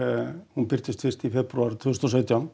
hún birtist fyrst í febrúar tvö þúsund og sautján